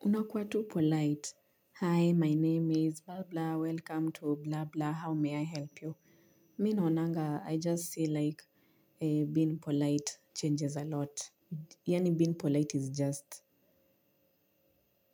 Unakuwa tu polite. Hi, my name is blah blah. Welcome to blah blah. How may I help you? Mi naonanga, I just see like being polite changes a lot. Yaani being polite is just